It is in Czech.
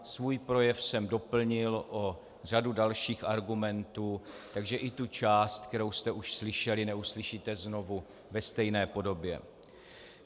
Svůj projev jsem doplnil o řadu dalších argumentů, takže i tu část, kterou jste už slyšeli, neuslyšíte znovu ve stejné podobě.